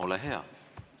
Ole hea!